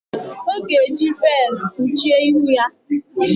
Ọ ga-eji veelụ kpuchie ihu ya.